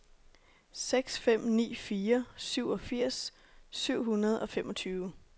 seks fem ni fire syvogfirs syv hundrede og femogtyve